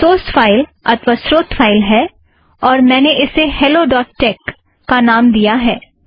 यह source file अथ्वा स्रोत फ़ाइल है और मैंने इसे हॅलो डॊट टेक helloटेक्स का नाम दिया है